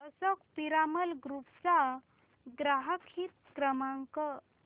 Ashok Piramal Group चा ग्राहक हित क्रमांक